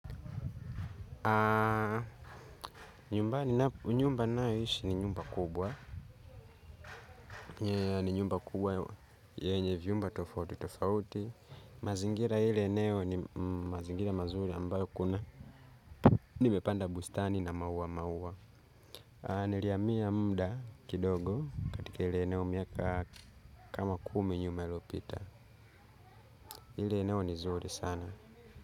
Nyumba ninayoishi ni nyumba kubwa. Nyumba kubwa yenye vyumba tofauti tofauti mazingira ile eneo ni mazingira mazuri ambayo kuna nimepanda bustani na mauwa mauwa. Niliamia muda kidogo katika ile eneo miaka kama kumi nyuma iliopita ile eneo ni zuri sana.